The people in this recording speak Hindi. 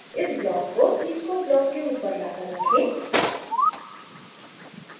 इस ब्लॉक को cscope ब्लॉक के ऊपर लाकर रखें